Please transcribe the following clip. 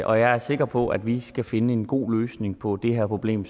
og jeg er sikker på at vi skal finde en god løsning på det her problem